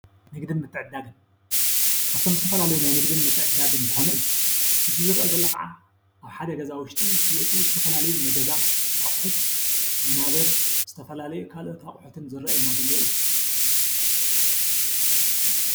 ንግድን ምትዕድዳግን-ካፍቶም ዝተፈላለዩ ናይ ንግድን ምትዕድዳግን ዝኾነ እዩ፡፡ እዚ ዝርአ ዘሎ ኸዓ ኣብ ሓደ ገዛ ውሽጢ ዝሽየጡ ዝተፈላለዩ ናይ ገዛ ኣቑሑት ወናብር፣ ዝተፈላለዩ ካልኦት ኣቑሑትን ዝርአዩና ዘሎ እዩ፡፡